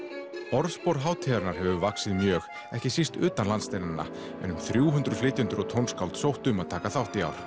orðspor hátíðarinnar hefur vaxið mjög ekki síst utan landsteinanna en um þrjú hundruð flytjendur og tónskáld sóttu um að taka þátt í ár